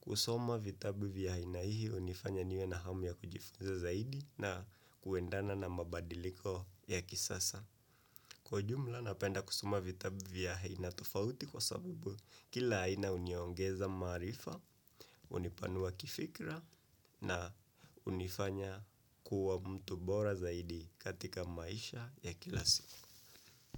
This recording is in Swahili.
Kusoma vitabu vya aina hii hunifanya niwe na hamu ya kujifunza zaidi na kuendana na mabadiliko ya kisasa. Kwa ujumla napenda kusoma vitabu vya aina tofauti kwa sababu kila aina huniongeza maarifa, hunipanua kifikra na hunifanya kuwa mtu bora zaidi katika maisha ya kila siku.